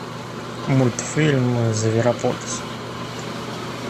мультфильм зверополис